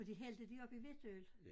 Og de hældte det op i hvidtøl